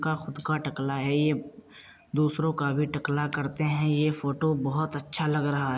का खुद का टकला है ये। दूसरों का भी टकला करते हैं। ये फोटो बहोत अच्छा लग रहा।